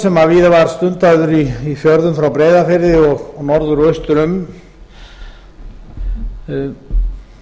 sem víða var stundaður í fjörðum frá breiðafirði og norður og austur um